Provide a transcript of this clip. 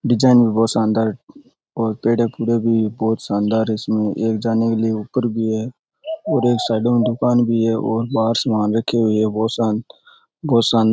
design भी बहुत शानदार है और पेड़े पुडे भी बहुत शानदार है इसमें एक जाने के लिए ऊपर भी है और एक साइड में दुकान भी है और बाहर सामान रखे हुए हैं वो शान वो शान --